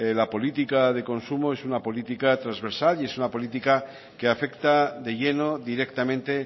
la política de consumo es una política trasversal y es una política que afecta de lleno directamente